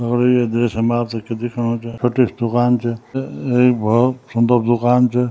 दगड़ियों ये दृश्य मा आपथे जू दिख्येणु च छोटी स दुकान च एक भौत सुन्दर दूकान च।